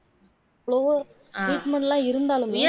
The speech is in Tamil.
treatment எல்லாம் இருந்தாலுமே